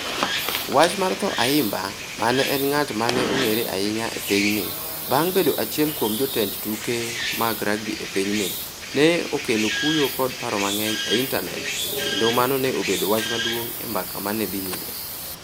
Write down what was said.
Wach mar tho Ayimba, ma ne en ng'at ma ne ong'ere ahinya e pinyni bang ' bedo achiel kuom jotend tuke mag rugby e pinyni, ne okelo kuyo kod paro mang'eny e intanet, kendo mano ne obedo wach maduong ' e mbaka ma ne dhi nyime.